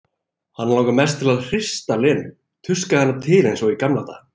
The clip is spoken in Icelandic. Hana langar mest til að hrista Lenu, tuska hana til eins og í gamla daga.